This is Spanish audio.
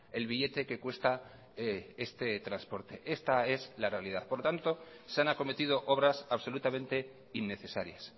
el billete que cuesta este transporte esta es la realidad por lo tanto se han acometido obras absolutamente innecesarias